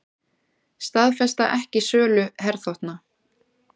Staðfesta ekki sölu herþotna